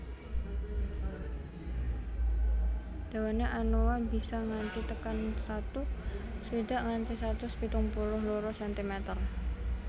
Dawane anoa bisa nganti tekan satu swidak nganti satus pitung puluh loro sentimeter